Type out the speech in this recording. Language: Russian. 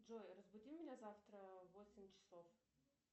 джой разбуди меня завтра в восемь часов